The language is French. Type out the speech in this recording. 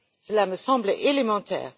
Cela me semble élémentaire.